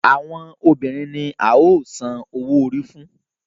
Àwọn obìrin ní a yóò so òwò òrí fún.